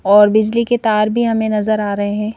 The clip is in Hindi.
और बिजली के तार भी हमे नज़र आ रहे है।